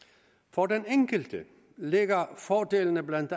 for den enkelte ligger fordelene blandt